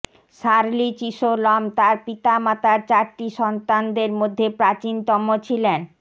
Shirley Chisholm তার পিতামাতার চারটি সন্তানদের মধ্যে প্রাচীনতম ছিলেন